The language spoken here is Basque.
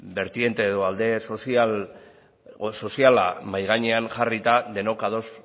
bertiente edo alde soziala mahai gainean jarrita denok ados